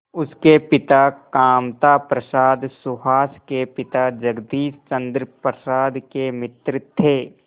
उसके पिता कामता प्रसाद सुहास के पिता जगदीश चंद्र प्रसाद के मित्र थे